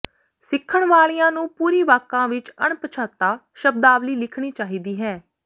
ਸਿੱਖਣ ਵਾਲਿਆਂ ਨੂੰ ਪੂਰੀ ਵਾਕਾਂ ਵਿੱਚ ਅਣਪਛਾਤਾ ਸ਼ਬਦਾਵਲੀ ਲਿਖਣੀ ਚਾਹੀਦੀ ਹੈ